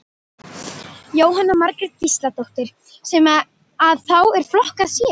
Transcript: Jóhanna Margrét Gísladóttir: Sem að þá er flokkað sér?